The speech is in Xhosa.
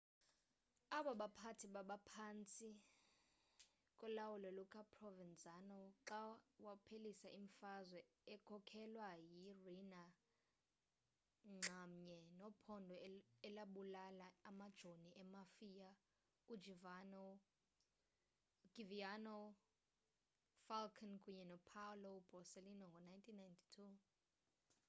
aba baphathi babaphantsi kolawulo lukaprovenzano xa waphelisa imfazwe ekhokhelwa yi-rina nxamnye nephondo elabulala amajoni emafia ugiovanni falcone kunye nopaolo borsellino ngo-1992